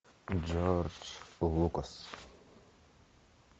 джордж лукас